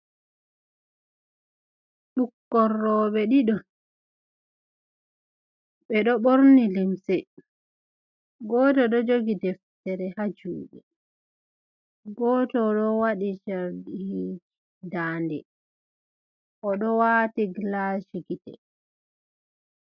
Ɓukkoi rowɓe ɗiɗo ɓe ɗo ɓorni limse goto ɗo jogi deftere ha juɗe goto o ɗo waɗi chardi dande o ɗo wati glashi gite.